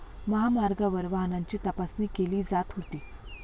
महामार्गावर वाहनांची तपासणी केली जात होती.